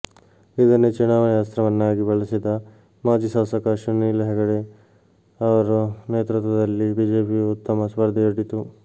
ಇದನ್ನೇ ಚುನಾವಣೆ ಅಸ್ತ್ರವನ್ನಾಗಿ ಬಳಸಿದ ಮಾಜಿ ಶಾಸಕ ಸುನೀಲ ಹೆಗಡೆ ಅವರ ನೇತೃತ್ವದಲ್ಲಿ ಬಿಜೆಪಿಯೂ ಉತ್ತಮ ಸ್ಪರ್ಧೆಯೊಡ್ಡಿತು